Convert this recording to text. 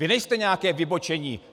Vy nejste nějaké vybočení.